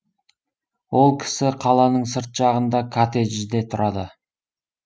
ол кісі қаланың сырт жағында коттеджде тұрады